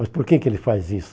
Mas por que que ele faz isso?